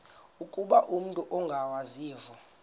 ukuba umut ongawazivo